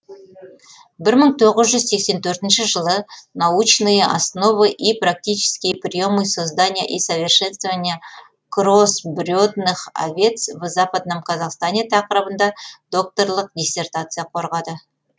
бір мың тоғыз жүз сексен төртінші жылы научные основы и практические приемы создания и совершенствования кроссбредных овец в западном казахстане тақырыбында докторлық диссертация қорғады